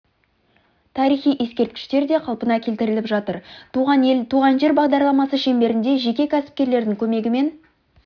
тарихи ескерткіштер де қалпына келтіріліп жатыр туған ел туған жер бағдарламасы шеңберінде жеке кәсіпкерлердің көмегімен